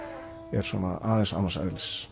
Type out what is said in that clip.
er svona aðeins annars eðlis